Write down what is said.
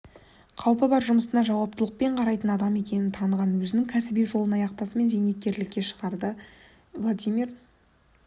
қалпы бар жұмысына жауаптылықпен қарайтын адам екенін таныған өзінің кәсіби жолын аяқтасымен зейнеткерлікке шығарда владимир